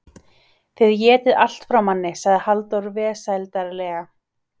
Þið étið allt frá manni, sagði Halldór vesældarlega.